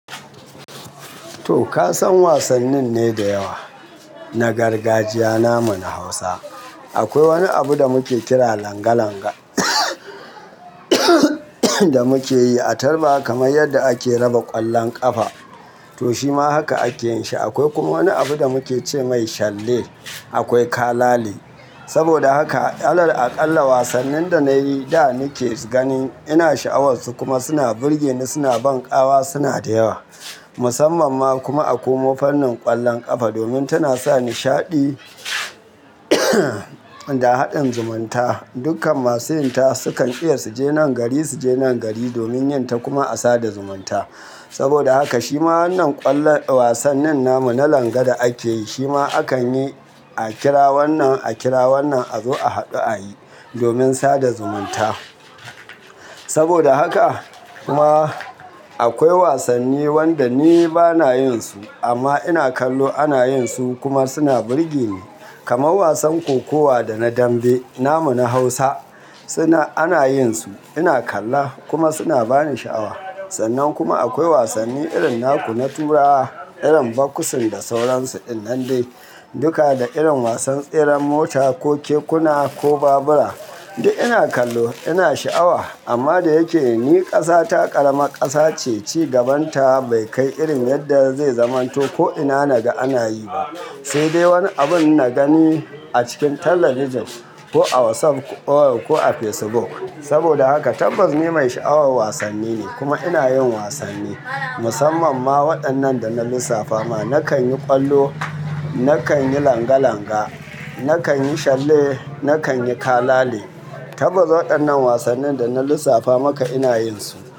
To ka san wasannin ne da yawa na gargajiya namu na Hausa. Akwai wani abu da muke kira langa langa da muke yi a tarba kamar yadda ake raba ƙwallon ƙafa. To shima haka ake yin shi. Akwai kuma wani abu da muke ce mai shalle, akwai kalale. Saboda haka, alal aƙalla wasannin da na yi da nike gani ina sha'awar su kuma suna burge ni suna ban ƙawa suna da yawa. Musamman ma kuma akomo fannin ƙwallon ƙafa domin tana sa nishaɗi da haɗin zumunta. Dukkan masu yin ta su kan iya suje nan gari suje nan gari domin yin ta kuma a sada zumunta. Saboda haka shima wannan ƙwallon wasannin namu na langa da ake yi shima akan yi a kira wannan a kira wannan a zo a haɗu a yi domin sada zumunta. Saboda haka kuma akwai wasanni wanda ni bana yin su amma ina kallo ana yin su kuma suna burge ni. Kamar wasan kokowa da na dambe namu na Hausa suna ana yin su ina kalla kuma suna bani sha'awa. Sannan kuma akwai wasanni irin naku na turawa, irin boxing da sauransu ɗinnande. Duka da irin wasan tseren mota ko kekuna ko babura. Duk ina kallo ina sha'awa. Amma da yake ne ƙasa ta ƙarama ƙasa ce, cigabanta bai kai irin yadda zai zamanto ko ina naga ana yi ba. Sai dai wani abun na gani a cikin talabijin ko a WhatsApp ko a Facebook. Saboda haka tabbas ni mai sha'awar wasanni ne kuma ina yin wasanni. Musamman ma waɗannan da na lissafa ma. Nakan yi ƙwallo, nakan yi langa langa, nakan yi shalle, nakan yi kalale. Tabbas waɗannan wasannin da na lissafa maka ina yin su.